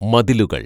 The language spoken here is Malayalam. മതിലുകള്‍